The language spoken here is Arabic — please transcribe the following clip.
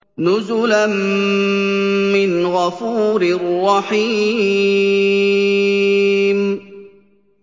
نُزُلًا مِّنْ غَفُورٍ رَّحِيمٍ